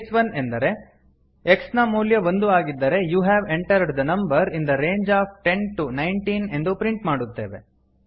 case 1 ಎಂದರೆ x ನ ಮೌಲ್ಯ ಒಂದು ಆಗಿದ್ದರೆ you have entered the number in the range of ten to nineteen ಎಂದು ಪ್ರಿಂಟ್ ಮಾಡುತ್ತೇವೆ